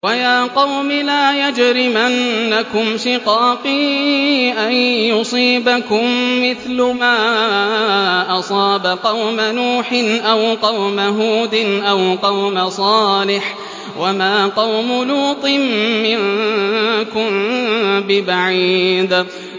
وَيَا قَوْمِ لَا يَجْرِمَنَّكُمْ شِقَاقِي أَن يُصِيبَكُم مِّثْلُ مَا أَصَابَ قَوْمَ نُوحٍ أَوْ قَوْمَ هُودٍ أَوْ قَوْمَ صَالِحٍ ۚ وَمَا قَوْمُ لُوطٍ مِّنكُم بِبَعِيدٍ